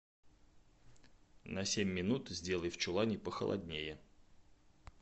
на семь минут сделай в чулане похолоднее